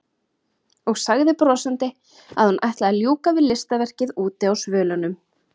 Og sagði brosandi að hún ætlaði að ljúka við listaverkið úti á svölunum.